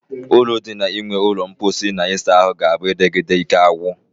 Uru di na inwe ulo mposi na isa ahu ga-a bu edegide Ike agwu.